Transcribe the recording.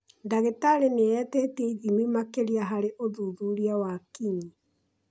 Ndagĩtari nĩetĩtie ithimi makĩria harĩ ũthuthuria wa kinyi